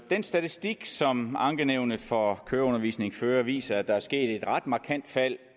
den statistik som ankenævnet for køreundervisning fører viser at der er sket et ret markant fald